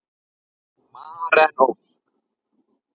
Maren Ósk.